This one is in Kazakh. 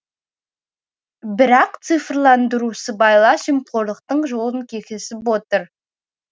бірақ цифрландыру сыбайлас жемқорлықтың жолын кесіп отыр